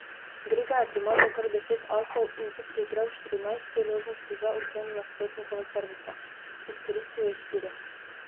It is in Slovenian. Grega je primazal kar deset asov in si priigral štirinajst priložnosti za odvzem nasprotnikovega servisa, izkoristil je štiri.